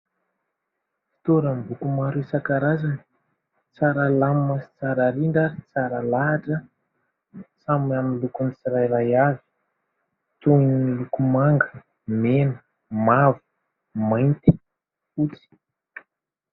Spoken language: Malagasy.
Fitoeram- boko maro isan-karazany, tsara lamima sy tsara rindra sy tsara lahatra. Samy amin'ny lokony sy tsirairay avy toy ny loko manga, mena mavo, mainty, fotsy.